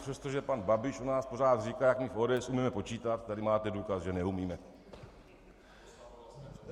Přestože pan Babiš o nás pořád říká, jak my v ODS umíme počítat, tady máte důkaz, že neumíme.